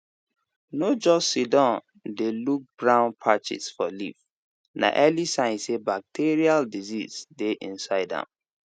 no just siddon dey look brown patches for leaves na early sign say bacterial disease dey inside am